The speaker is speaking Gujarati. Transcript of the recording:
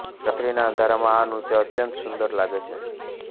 રાત્રીના અંધારામાં આ નૃત્ય અત્યંત સુંદર લાગે છે